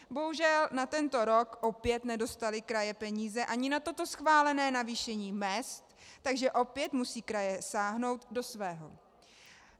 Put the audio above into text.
Bohužel, na tento rok opět nedostaly kraje peníze ani na toto schválené navýšení mezd, takže opět musí kraje sáhnout do svého.